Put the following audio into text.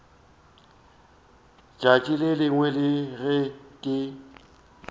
tšatši le lengwe ge ke